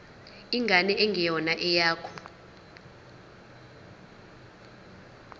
ingane engeyona eyakho